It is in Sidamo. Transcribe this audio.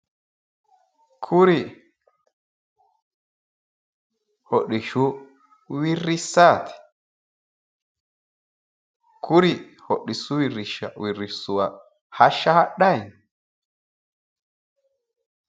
kuri hodhishshu wirrissaati? kuri hodhishshu wirrisuwa hashsha hadhayi no?